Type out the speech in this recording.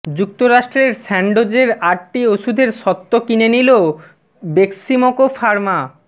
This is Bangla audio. যুক্তরাষ্ট্রের স্যান্ডোজের আটটি ওষুধের স্বত্ত কিনে নিল বেক্সিমকো ফার্মা